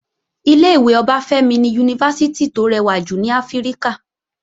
Ilé-ìwé Ọbáfẹ́mi ni Yunifásítì tó rẹwà jù ní Áfíríkà